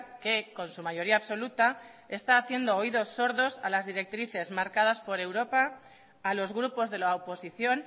que con su mayoría absoluta está haciendo oídos sordos a las directrices marcadas por europa a los grupos de la oposición